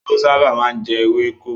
Ehoro sábà má ń jẹ ewéko.